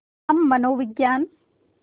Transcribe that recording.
हम मनोविज्ञान